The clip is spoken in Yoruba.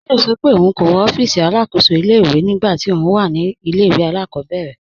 Táyọ̀ sọ́ pé óun kò wọ́ òfíìsí alákóṣò ilẹ̀-ìwé nígbà tí óun wà ní ilẹ̀-ìwé alákọ̀bẹ̀rẹ̀